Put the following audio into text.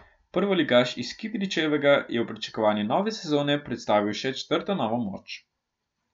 Prvoligaš iz Kidričevega je v pričakovanju nove sezone predstavil še četrto novo moč.